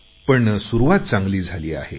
पण सुरुवात चांगली झाली आहे